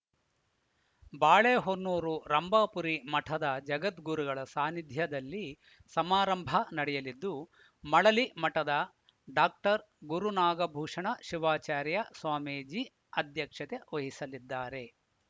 ಬಾಳೆಹೊನ್ನೂರು ರಂಭಾಪುರಿ ಮಠದ ಜಗದ್ಗುರುಗಳ ಸಾನಿಧ್ಯದಲ್ಲಿ ಸಮಾರಂಭ ನಡೆಯಲಿದ್ದು ಮಳಲಿಮಠದ ಡಾಕ್ಟರ್ ಗುರುನಾಗಭೂಷಣ ಶಿವಾಚಾರ್ಯ ಸ್ವಾಮೀಜಿ ಅಧ್ಯಕ್ಷತೆ ವಹಿಸಲಿದ್ದಾರೆ